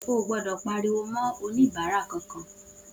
Oò gbodò pariwo ma oníbàárà kan-kan